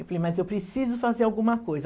Eu falei, mas eu preciso fazer alguma coisa.